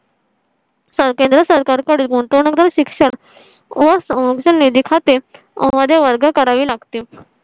चा केंद्र सरकार कडे गुंतवणूकदार शिक्षण व Songs निधी खाते मधे वर्ग करावी लागतील.